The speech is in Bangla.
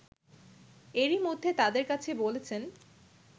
এরই মধ্যে তাদের কাছে বলেছেন